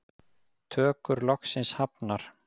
Tökur loksins hafnar